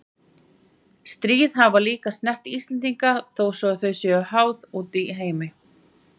Stríð hafa líka snert Íslendinga þó svo að þau séu háð úti í heimi.